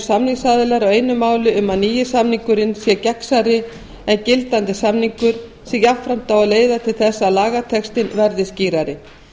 samningsaðilar á einu máli um að nýi samningurinn sé gegnsærri en gildandi samningur sem jafnframt á að leiða til þess að lagatextinn verði skýrari